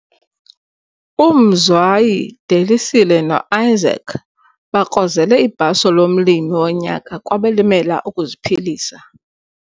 UMzwayi, Delisile no-Isaac bakrozele ibhaso lomLimi woNyaka kwabaLimela ukuziPhilisa